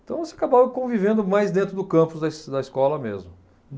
Então, se acabava convivendo mais dentro do campus, da es da escola mesmo.